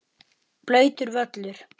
Blautur völlur.